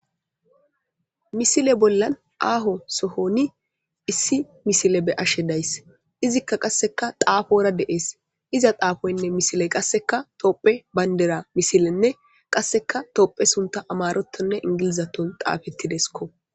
Misile bollan aho sohon issí missile beyashe days izika qase xaafora dees iza xaafoynne misiley tophiya bandira misilenne qase tophiya suntha amarathoninne ingilizathon xaafidesikko.